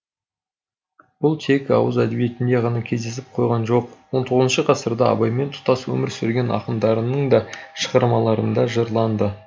бұл тек ауыз әдебиетінде ғана кездесіп қойған жоқ он тоғызыншы ғасырда абаймен тұстас өмір сүрген ақындарының да шығармаларында жырланды